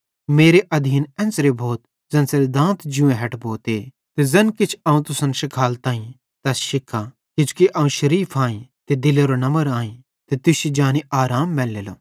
मेरे आधीन एन्च़रे भोथ ज़ेन्च़रे दांत जूंए हैठ भोते ते ज़ैन किछ अवं तुसन शिखालताईं तैस शिख्खा किजोकि अवं शरीफ आईं ते दिलेरो नम्र आईं ते तुश्शी जानी आराम मैलेलो